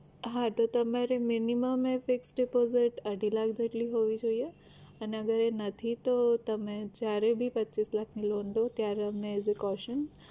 હા તો તમારી minimum fix deposit અઢી લાખ જેટલી હોવી જોઈએ અને અગર એ નથી તો તમેં જયારે ભી પચ્ચીસ લાખની loan લ્યો ત્યારે અમને as a caution